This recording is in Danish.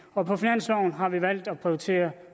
og på finansloven har vi valgt at prioritere